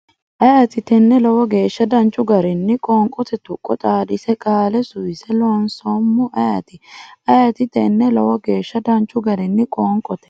ayeeti tenne Lowo geeshsha danchu garinni qoonqote tuqqo xaadise qaale suwise loonsoommo ayeeti ayeeti tenne Lowo geeshsha danchu garinni qoonqote.